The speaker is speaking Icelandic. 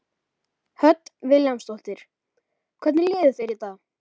Hödd Vilhjálmsdóttir: Hvernig líður þér í dag?